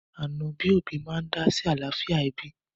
Ànọ́ bí òbí máa ń dá sí àlàáfíà ẹbí